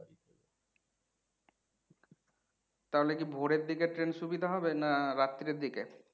তাহলে কি ভোরের দিকে ট্রেন সুবিধা হবে না রাত্রের দিকে?